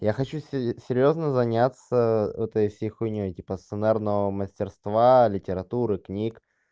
я хочу серьёзно заняться этой всей хуйней типа сценарного мастерства литературы книг